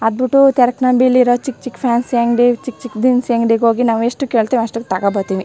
ಅದ್ ಬಿಟ್ಟು ತರ್ಕ್ ಅಂಗಡಿಲಿ ಇರೋ ಚಿಕ್ಕ್ ಚಿಕ್ಕ್ ಫ್ಯಾನ್ಸಿ ಅಂಗಡಿ ಚಿಕ್ಕ್ ಚಿಕ್ಕ್ ದಿನ್ಸಿ ಅಂಗಡಿಗೆ ಹೋಗಿ ನಾವು ಎಷ್ಟ ಕೇಳತ್ತಿವೋ ಅಷ್ಟ ತಕೋಬತ್ತೀನಿ .